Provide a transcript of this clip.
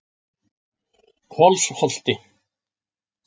Kolsholti